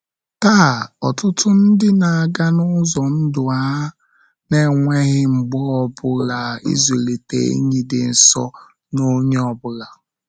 Taa, ọtụtụ ndị na-aga n’ụzọ ndụ ha na-enweghị mgbe ọ ọ bụla ịzụlite enyi dị nso na onye ọ bụla.